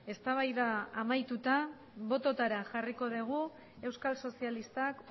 eztabaida amaituta botoetara jarriko dugu euskal sozialistak